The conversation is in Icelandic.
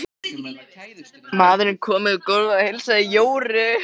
Maðurinn kom yfir gólfið og heilsaði Jóru.